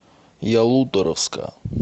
ялуторовска